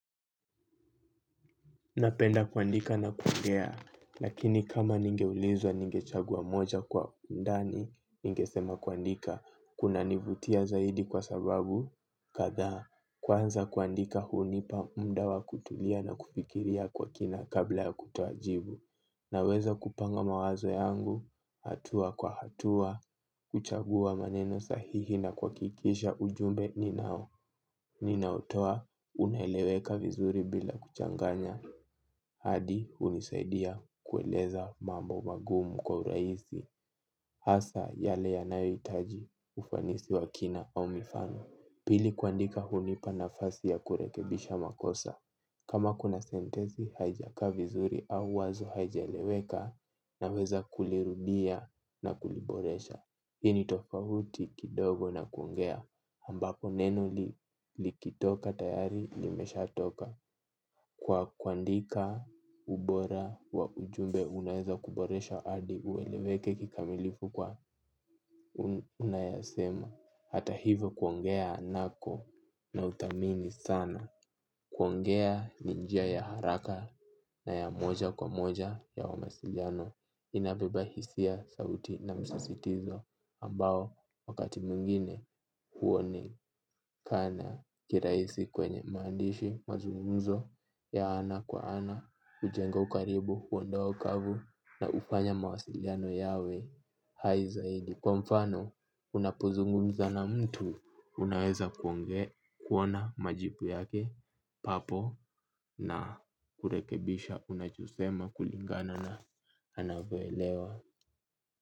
Napenda kuandika na kuongea, lakini kama ningeulizwa ningechagua moja kwa undani, ningesema kuandika, kuna nivutia zaidi kwa sababu, kadhaa, kwanza kuandika hunipa muda wa kutulia na kufikiria kwa kina kabla ya kutoa jibu, naweza kupanga mawazo yangu, hatua kwa hatua, kuchagua maneno sahihi na kuhakikisha ujumbe ninao, ninaotoa, unaeleweka vizuri bila kuchanganya. Hadi hunisaidia kueleza mambo magumu kwa urahisi. Hasa yale yanayohitaji ufanisi wa kina au mifano. Pili kuandika hunipa nafasi ya kurekebisha makosa. Kama kuna sentensi haijakaa vizuri au wazo haijaeleweka naweza kulirudia na kuliboresha. Hii ni tofauti kidogo na kuongea. Ambapo neno likitoka tayari limeshatoka. Kwa kuandika ubora wa ujumbe unaweza kuboresha hadi ueleweke kikamilifu kwa unayoyasema. Hata hivyo kuongea nako nauthamini sana. Kuongea ni njia ya haraka na ya moja kwa moja ya mawasiliano. Inabeba hisia, sauti na msisitizo ambao wakati mwingine huoni. Kana kirahisi kwenye maandishi, mazungunzo ya ana kwa ana, hujenga ukaribu, huondoa ukavu na hufanya mawasiliano yawe hai zaidi. Kwa mfano, unapozungumza na mtu, unaweza kuongea, kuona majibu yake papo na kurekebisha unachosema kulingana na anao kuelewa.